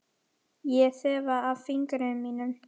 Ég þefa af fingrum mínum.